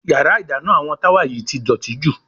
Yàrá ìdáná àwọn Táwà yìí ti dọ̀tí jù.